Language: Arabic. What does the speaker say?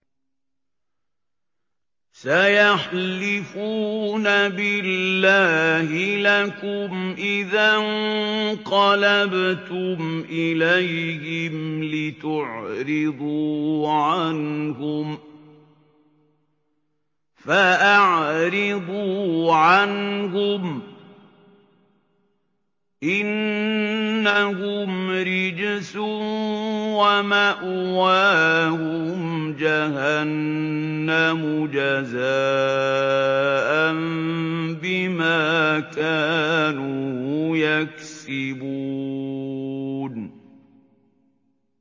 سَيَحْلِفُونَ بِاللَّهِ لَكُمْ إِذَا انقَلَبْتُمْ إِلَيْهِمْ لِتُعْرِضُوا عَنْهُمْ ۖ فَأَعْرِضُوا عَنْهُمْ ۖ إِنَّهُمْ رِجْسٌ ۖ وَمَأْوَاهُمْ جَهَنَّمُ جَزَاءً بِمَا كَانُوا يَكْسِبُونَ